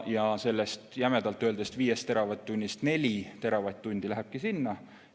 Ja sellest jämedalt öeldes 5 teravatt-tunnist 4 teravatt-tundi lähebki sinna.